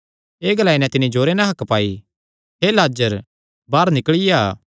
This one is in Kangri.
एह़ ग्लाई नैं तिन्नी जोरे नैं हक्क पाई हे लाजर बाहर निकल़ी आ